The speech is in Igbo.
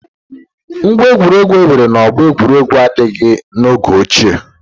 Ngwá egwuregwu enwere na ọgbọ egwuregwu adịghị n'oge ochie.